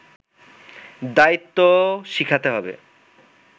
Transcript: দায়িত্বও শিখাতে হবে”